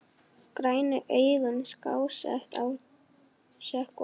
Grænu augun skásett að sökkva.